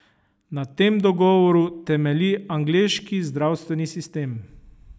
Na tem dogovoru temelji angleški zdravstveni sistem.